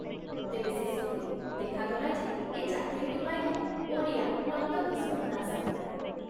ତେବେ ଶେଷକୁ ଦେଖାଗଲା ଯେ ଏ ଚାକିରିଟି ପାଇଲେ ଓଡ଼ିଆ ନନ୍ଦକିଶୋର ଦାସ ।